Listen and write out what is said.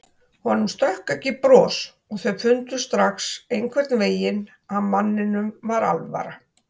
Honum stökk ekki bros og þau fundu strax einhvern veginn að manninum var alvara.